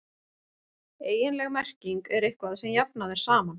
eiginleg merking er „eitthvað sem jafnað er saman“